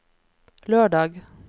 lørdag